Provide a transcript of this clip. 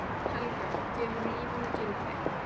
Helga: Gefur lífinu gildi?